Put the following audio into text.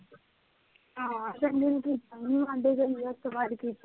ਹਾਂ, ਸੰਜੂ ਨੂੰ ਕੀਤਾ, ਓਹਨੂੰ ਉਸਤੋ ਬਾਅਦ ਕੀਤਾ ਹੀ ਨੀ